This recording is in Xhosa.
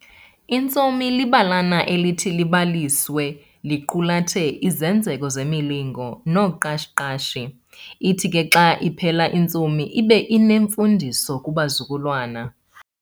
Intsomi libalana elithi libalisiswe liqulathe izenzeko zemilingo noqashi qashi. Ithi ke xa iphela intsomi ibe inemfundiso kubazukulwana.